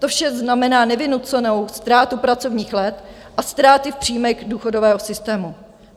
To vše znamená nevynucenou ztrátu pracovních let a ztráty v příjmech důchodového systému.